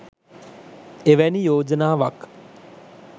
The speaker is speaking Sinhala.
එවැනි යෝජනාවක්